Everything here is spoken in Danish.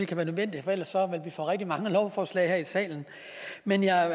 kan være nødvendigt for ellers ville vi få rigtig mange lovforslag her i salen men jeg